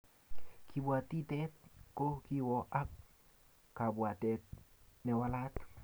kabwatitet ko kiwoo ak kabwatet ne walat